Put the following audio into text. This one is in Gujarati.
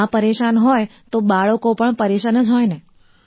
માં પરેશાન હોય તો બાળકો પણ પરેશાન જ હોય ને